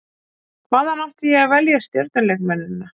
Hvaðan átti ég að velja stjörnuleikmennina?